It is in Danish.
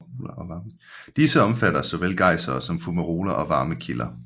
Disse omfatter såvel gejsere som fumaroler og varme kilder